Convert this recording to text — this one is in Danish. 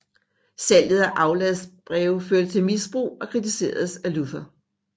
Salget af afladsbreve førte til misbrug og kritiseredes af Luther